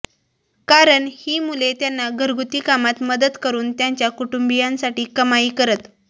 कारण ही मुले त्यांना घरगुती कामात मदत करून त्यांच्या कुटुंबीयांसाठी कमाई करत